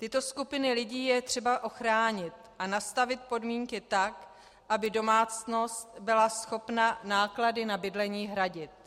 Tyto skupiny lidí je třeba ochránit a nastavit podmínky tak, aby domácnost byla schopna náklady na bydlení hradit.